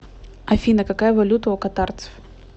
афина какая валюта у катарцев